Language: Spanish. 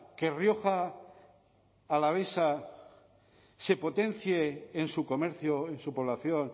que rioja alavesa se potencie en su comercio en su población